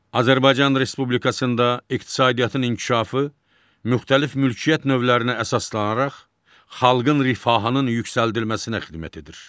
Azərbaycan Respublikasında iqtisadiyyatın inkişafı müxtəlif mülkiyyət növlərinə əsaslanaraq xalqın rifahının yüksəldilməsinə xidmət edir.